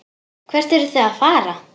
Hvert eruð þið að fara?